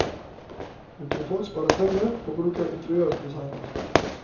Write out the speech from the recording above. Hun tror folk sparer penger på å bruke en interiørdesigner.